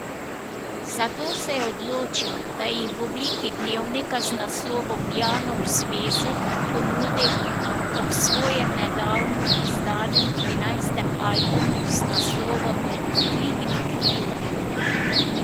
Zato se je odločil, da jih v obliki dnevnika z naslovom Janov zvezek ponudi ob svojem nedavno izdanem trinajstem albumu z naslovom Dvigni krila.